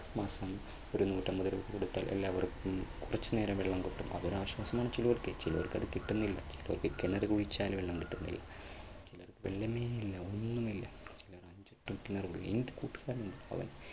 മാസം ഒരു നൂറ്റമ്പത് രൂപ കൊടുത്താൽ എല്ലാവർക്കും കുറച്ചുനേരം വെള്ളം കിട്ടും അതൊരു ആശ്വാസമാണ് ചിലർക്ക് ചിലർക്കത് കിട്ടുന്നില്ല. ചിലർക്ക് കിണർ കുഴിച്ചാലും വെള്ളം കിട്ടുന്നില്ല